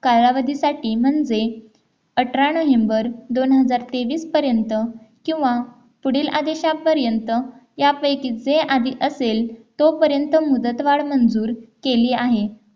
कालावधीसाठी म्हणजे अठरा नोव्हेंबर दोनहजार तेवीस पर्यंत किंवा पुढील आदेशापर्यंत यापैकी जे आधी असेल तोपर्यंत मुदतवाड मंजूर केली आहे